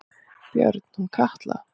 Björn: Hún Katla?